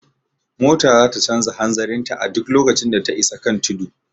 Mota zata canja hanzarin ta a duk lokacin da ta isa kan tudu